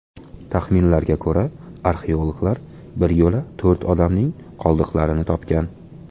Taxminlarga ko‘ra, arxeologlar bir yo‘la to‘rt odamning qoldiqlarini topgan.